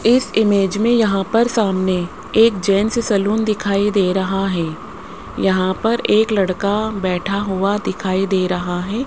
इस इमेज में यहां पर सामने एक जेंट्स सैलून दिखाई दे रहा है यहां पर एक लड़का बैठा हुआ दिखाई दे रहा है।